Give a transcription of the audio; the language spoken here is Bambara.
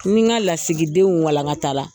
Ni n ka lasigidenw walankata la,